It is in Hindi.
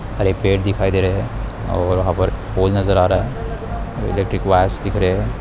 और एक पेड़ दिखाई दे रहे हैं और यहां पर फूल नजर आ रहा हैं इलेक्ट्रिक् वायर्स दिख रहे हैं।